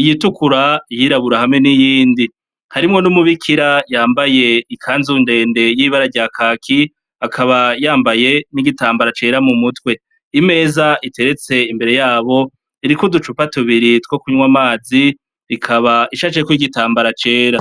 iyitukura yira aburahamu n'iyindi harimwo n'umubeikira yambaye ikanzundende y'ibara rya kaki akaba yambaye n'igitambara cera mu mutwe imeza iteretse imbere yabo irikudu cupatubiri two kunywa amazi rikaba ishacekw igitambara cera.